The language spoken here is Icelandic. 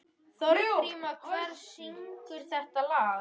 Þorgríma, hver syngur þetta lag?